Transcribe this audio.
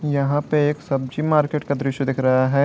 यहां पे एक सब्जी मार्केट का दृश्य दिख रहा है।